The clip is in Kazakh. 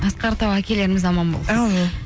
асқар тау әкелеріміз аман болсын әумин